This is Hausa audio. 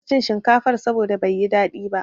Na kasa iin shinkafar saboda bai yi daɗi ba.